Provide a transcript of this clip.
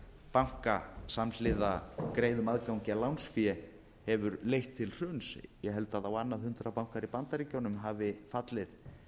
banka samhliða greiðum aðgangi að lánsfé hefur leitt til hruns ég held að á annað hundrað bankar í bandaríkjunum hafi fallið